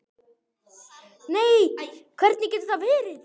Nei, hvernig getur það verið?